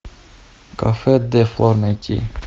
кафе де флор найти